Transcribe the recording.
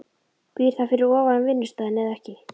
Býr það fyrir ofan vinnustaðinn eða ekki?